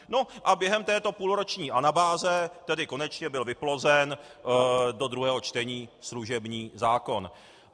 No a během této půlroční anabáze tedy konečně byl vyplozen do druhého čtení služební zákon.